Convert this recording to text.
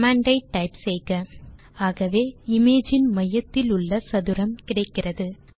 command ஐ type செய்க ஆகவே இமேஜ் இன் மையத்திலுள்ள சதுரம் கிடைக்கிறது